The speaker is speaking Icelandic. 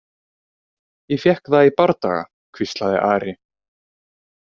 Ég fékk það í bardaga, hvíslaði Ari.